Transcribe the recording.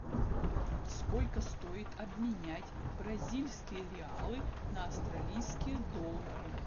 сколько стоит обменять бразильские реалы на австралийские доллары